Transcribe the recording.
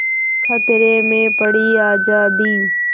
खतरे में पड़ी आज़ादी